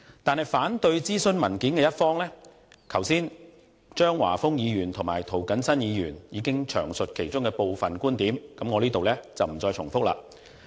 至於反對諮詢文件的一方，張華峰議員和涂謹申議員剛才已經詳述他們的部分觀點，我在此不再重複。